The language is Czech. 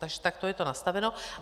Takže takto je to nastaveno.